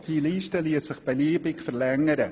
diese Liste liesse sich beliebig verlängern.